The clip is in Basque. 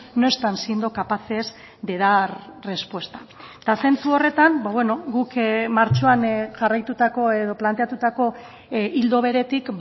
no están siendo capaces de dar respuesta eta zentzu horretan guk martxoan jarraitutako edo planteatutako ildo beretik